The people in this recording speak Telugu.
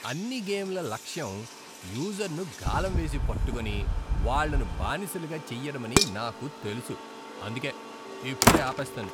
అన్ని గేమ్ల లక్ష్యం యూజర్ను గాలం వేసి పట్టుకొని, వాళ్ళను బానిసలుగా చెయ్యడమని నాకు తెలుసు, అందుకే ఇప్పుడే ఆపేస్తాను.